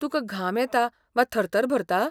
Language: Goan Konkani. तुका घाम येता वा थरथर भरता ?